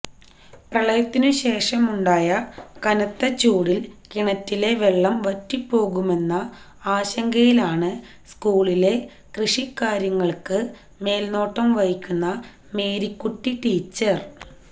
പ്രളയത്തിനു ശേഷമുണ്ടായ കനത്ത ചൂടില് കിണറ്റിലെ വെള്ളം വറ്റിപ്പോകുമെന്ന ആശങ്കയിലാണ് സ്കൂളിലെ കൃഷിക്കാര്യങ്ങള്ക്ക് മേല്നോട്ടം വഹിക്കുന്ന മേരിക്കുട്ടി ടീച്ചര്